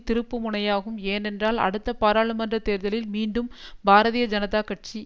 திருப்புமுனையாகும் ஏனென்றால் அடுத்த பாராளுமன்ற தேர்தலில் மீண்டும் பாரதீய ஜனதா கட்சி